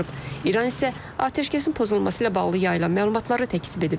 İran isə atəşkəsin pozulması ilə bağlı yayılan məlumatları təkzib edib.